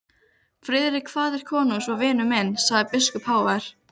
Friðrik faðir konungs var vinur minn, sagði biskup hávær.